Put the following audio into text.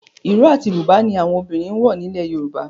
Ìró àti Bùbá ni àwọn obìnrin ń wọ̀ nílẹ̀ Yorùbá